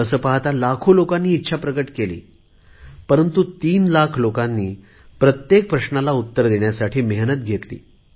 तसे पाहता लाखो लोकांनी इच्छा प्रकट केली परंतु 3 लाख लोकांनी प्रत्येक प्रश्नाला उत्तर देण्यासाठी मेहनत घेतली